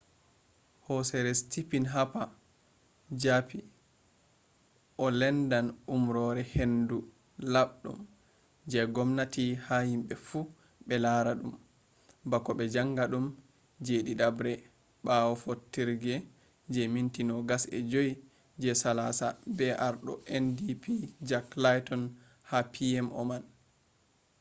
horeejo stephen harper japi o lendan umrore hendu laɓɗum je ngomnati ha himɓe fu ɓe lara dum bako be jaanga ɗum je ɗiɗabre bawo fottorge je minti 25 je salasa be ardo ndp jack layton ha pmo man